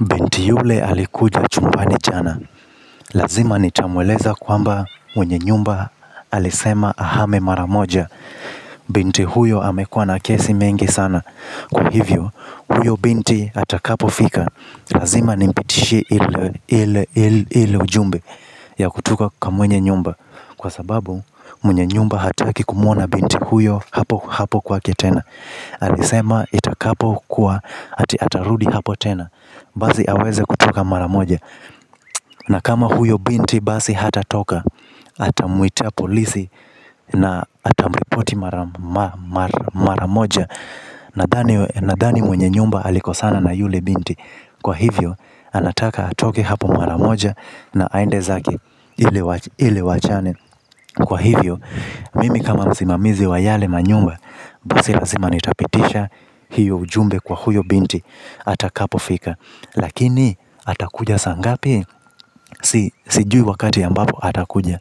Binti yule alikuja chumbani jana, lazima nitamweleza kwamba mwenye nyumba alisema ahame maramoja. Binti huyo amekua na kesi mengi sana, kwa hivyo huyo binti atakapo fika lazima nimpitishie ilo ujumbe ya kutoka kwa mwenye nyumba. Kwa sababu mwenye nyumba hataki kumuona binti huyo hapo hapo kwake tena. Alisema itakapo kuwa ati atarudi hapo tena. Basi aweze kutoka maramoja na kama huyo binti basi hatatoka. Atamuita polisi na atamripoti maramoja nadhani mwenye nyumba alikosana na yule binti kwa hivyo anataka atoke hapo mara moja na aende zake ili waachane kwa hivyo mimi kama msimamizi wa yale manyumba. Basi lazima nitapitisha hiyo ujumbe kwa huyo binti. Atakapofika lakini atakuja saa ngapi sijui wakati ambapo atakuja